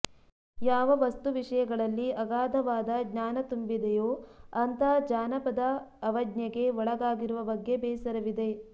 ಯಾವ ವಸ್ತು ವಿಷಯಗಳಲ್ಲಿ ಆಗಾಧವಾದ ಜ್ಞಾನ ತುಂಬಿದೆಯೋ ಅಂಥ ಜಾನಪದ ಅವಜ್ಞೆಗೆ ಒಳಗಾಗಿರುವ ಬಗ್ಗೆ ಬೇಸರವಿದೆ